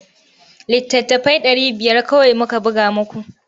Littattafai ɗari biyar kawai muka buga muku.